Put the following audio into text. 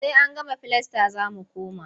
Sai an gama filasta za mu koma.